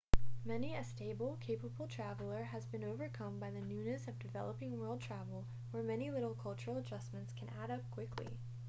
many a stable capable traveler has been overcome by the newness of developing world travel where many little cultural adjustments can add up quickly